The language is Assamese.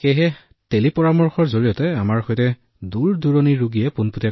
গতিকে টেলি পৰামৰ্শৰ জৰিয়তে আমি মানুহৰ সৈতে পোনপটীয়াকৈ সংযোগ স্থাপন কৰোঁ